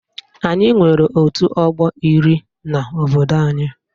Anyị nwere otu ọgbọ iri n'obodo anyị